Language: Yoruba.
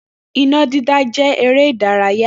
Iná dídá jẹ́ eré ìdárayá